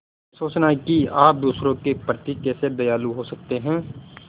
यह सोचना कि आप दूसरों के प्रति कैसे दयालु हो सकते हैं